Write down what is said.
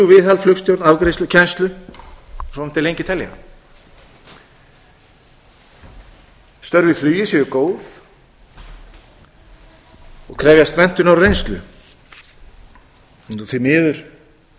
við flug viðhald flugstjórn afgreiðslu kennslu svo mætti lengi telja störf í flugi séu góð og krefjast menntunar og reynslu því miður